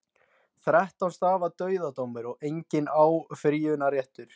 Þrettán stafa dauðadómur, enginn áfrýjunarréttur.